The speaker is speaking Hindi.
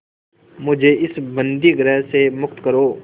मुझे इस बंदीगृह से मुक्त करो